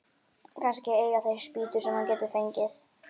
Kannski eiga þeir spýtur sem hann getur fengið.